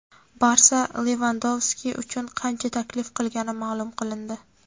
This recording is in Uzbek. "Barsa" Levandovski uchun qancha taklif qilgani ma’lum qilindi.